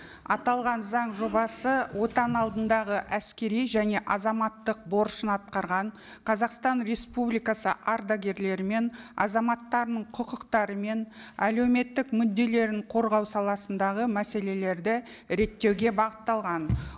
аталған заң жобасы отан алдындағы әскери және азаматтық борышын атқарған қазақстан республикасы ардагерлері мен азаматтарының құқықтары мен әлеуметтік мүдделерін қорғау саласындағы мәселелерді реттеуге бағытталған